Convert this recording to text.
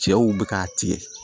Cɛw bɛ ka tigɛ